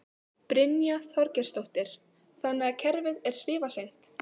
Brynja Þorgeirsdóttir: Þannig að kerfið er svifaseint?